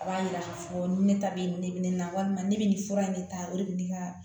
A b'a jira k'a fɔ ni ne ta bɛ ye ne bɛ ne la walima ne bɛ nin fura in ne ta o de bɛ ne ka